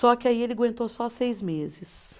Só que aí ele aguentou só seis meses.